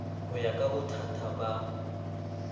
ho ya ka bothaka ba